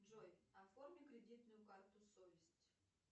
джой оформи кредитную карту совесть